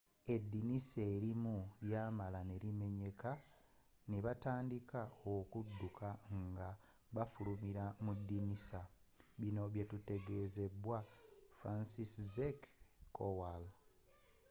edinisa elimu lyamala nelimenyeka nebatandika okudduka nga bafulumila mudinisa bino byatutegezeddwa franciszek kowal